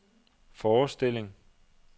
forestilling